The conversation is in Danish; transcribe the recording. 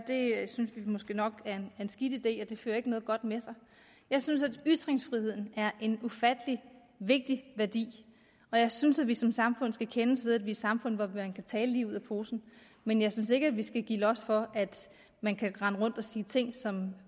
det synes vi måske nok er en skidt idé og det fører ikke noget godt med sig jeg synes at ytringsfriheden er en ufattelig vigtig værdi og jeg synes at vi som samfund skal kendes ved at vi samfund hvor man kan tale lige ud af posen men jeg synes ikke at vi skal give los for at man kan rende rundt og sige ting som